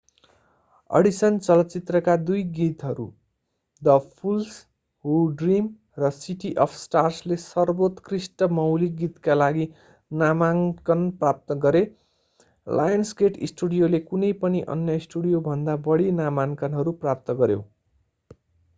Addition चलचित्रका दुई गीतहरू द फूल्स हू ड्रीम र सिटी अफ स्टार्सले सर्वोत्कृष्ट मौलिक गीतका लागि नामाङ्‍कन प्राप्त गरे। लायन्सगेट स्टुडियोले कुनै पनि अन्य स्टुडियोभन्दा बढी 26 नामाङ्कनहरू प्राप्त गर्‍यो।